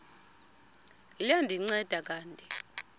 liya ndinceda kanti